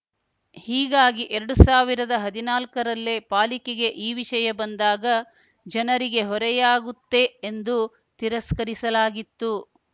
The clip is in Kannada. ಹೀಗಾಗಿ ಎರಡು ಸಾವಿರದ ಹದಿನಾಲ್ಕರಲ್ಲೇ ಪಾಲಿಕೆಗೆ ಈ ವಿಷಯ ಬಂದಾಗ ಜನರಿಗೆ ಹೊರೆಯಾಗುತ್ತೆ ಎಂದು ತಿರಸ್ಕರಿಸಲಾಗಿತ್ತು